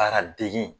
Baara degi